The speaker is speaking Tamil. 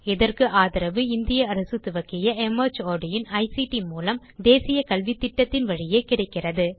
இதற்கு ஆதரவு இந்திய அரசு துவக்கிய மார்ட் இன் ஐசிடி மூலம் தேசிய கல்வித்திட்டத்தின் வழியே கிடைக்கிறது